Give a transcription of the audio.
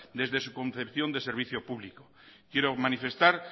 desde su concepción de servicio público quiero manifestar